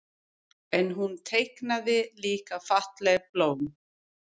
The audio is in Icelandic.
En hún teiknaði líka falleg blóm.